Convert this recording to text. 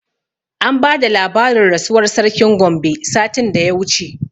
An bada labarin rasuwar sarkin Gombe satin da ya wuce